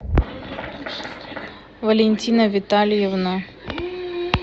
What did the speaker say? валентина витальевна